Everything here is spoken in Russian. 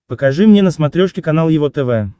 покажи мне на смотрешке канал его тв